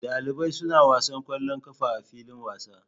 Dalibai suna wasa kwallon ƙafa a filin wasa